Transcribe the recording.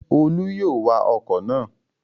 Olú yóò wa ọkọ̀ náà